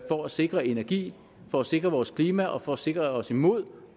for at sikre energi for at sikre vores klima og for at sikre os imod